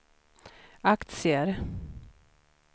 aktier